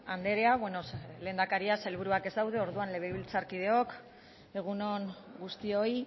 andrea lehendakariak sailburuak ez daude orduan legebiltzarkideok egun on guztioi